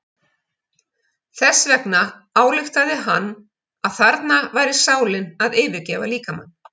Þess vegna ályktaði hann að þarna væri sálin að yfirgefa líkamann.